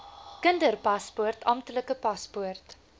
kinderpaspoort amptelike paspoort